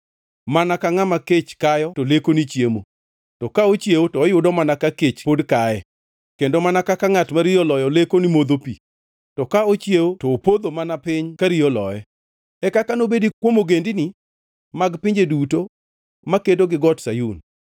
mana ka ngʼama kech kayo to leko ni chiemo, to ka ochiewo to oyudo mana ka kech pod kaye, kendo mana kaka ngʼat ma riyo oloyo leko ni modho pi, to ka ochiewo to opodho mana piny ka riyo oloye. E kaka nobedi kuom ogendini mag pinje duto makedo gi Got Sayun.